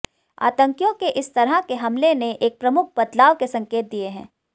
आतंकियों के इस तरह के हमले ने एक प्रमुख बदवाल के संकेत दिए हैं